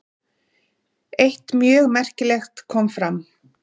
Eitt mjög merkilegt kom fram.